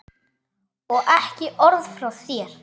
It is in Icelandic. Og ekki orð frá þér!